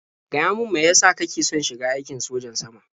Gaya min mai ya sa kake son shiga aikin sojan sama?